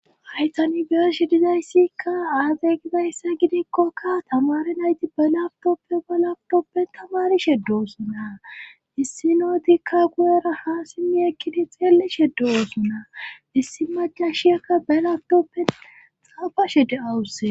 hay tan beyeshe dizayssikka aaze gidmzayssa gidikkokka tamare nayti balaftoppo balaftoppen tamarishe doosunna issi nootikka guyera ha simmi ekkidi xeellishe do7osunna issi macashiyakka belaftoppen xaafashe de7awusse